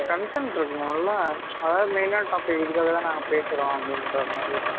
content இருக்கணும்ல ச்சு அதாவது main ஆன topic இதுக்காக தான் நாங்க பேசுறோம் அப்படின்ற மாதிரி